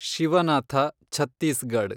Shivanath Chhattisgarh